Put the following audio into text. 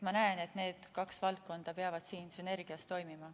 Ma näen, et need kaks valdkonda peavad siin sünergias toimima.